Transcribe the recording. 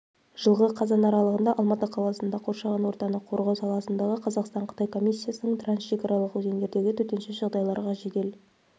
жылғы қазан аралығында алматы қаласында қоршаған ортаны қорғау саласындағы қазақстан-қытай комиссиясының трансшекаралық өзендердегі төтенше жағдайларға жедел